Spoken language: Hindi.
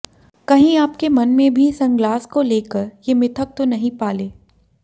कहीं आपके मन में भी सनग्लास को लेकर ये मिथक तो नहीं पाले